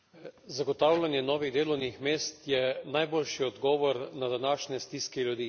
Zagotavljanje novih delovnih mest je najboljši odgovor na današnje stiske ljudi.